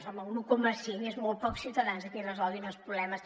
home un un coma cinc és a molt pocs ciutadans a qui resolguin els problemes